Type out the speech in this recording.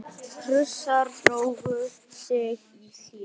Prússar drógu sig í hlé.